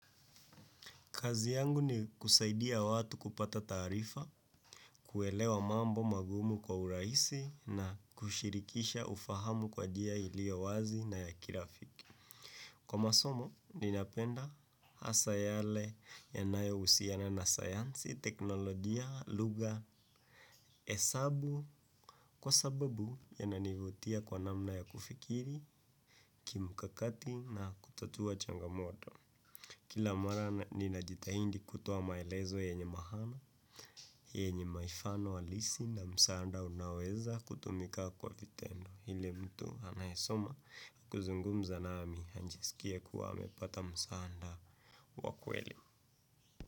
Kazi yangu ni kusaidia watu kupata taarifa, kuelewa mambo magumu kwa urahisi na kushirikisha ufahamu kwa njia ilio wazi na ya kirafiki. Kwa masomo ninapenda hasa yale yanayohusiana na sayansi, teknolojia lugha hesabu kwa sababu inanivutia kwa namna ya kufikiri kimkakati na kutatua changamoto. Kila mara ninajitahindi kutoa maelezo yenye maana, yenye mifano halisi na msaada unaoweza kutumika kwa vitendo. Yule mtu anayesoma na kuzungumza nami ajiskie amepata msaada wa kweli.